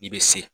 I bɛ se